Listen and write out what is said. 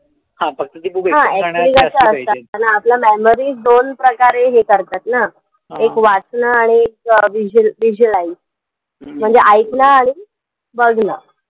हां. Actually आपलं memory दोन प्रकारे हे करतात ना. एक वाचणं आणि एक व्हिजु visualize. म्हणजे ऐकणं आणि बघणं.